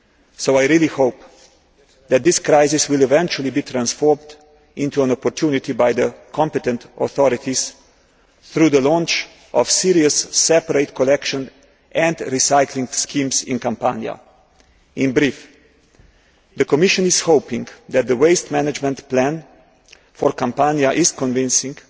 So I really hope that this crisis will eventually be transformed into an opportunity by the competent authorities through the launch of serious separate collection and recycling schemes in Campania. In brief, the Commission is hoping that the waste management plan for Campania is convincing.